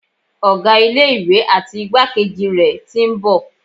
Ọ̀gá ilé ìwé àti igbákejì rẹ̀ tí ń bọ̀.